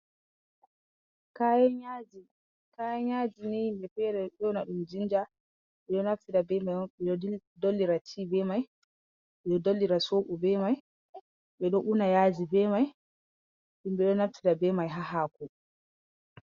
Kayan yaaji, kayan yaaji ni himbe fere ɗo ƴona ɗum jinja. Ɓe ɗo naftira be mai on ɓe ɗo dollira tea be mai, ɓe ɗo dollira soɓo be mai, ɓe ɗo una yaaji be mai. Himɓe ɗo naftira be mai haa haako.